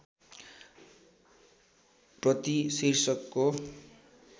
प्रति शीर्षकको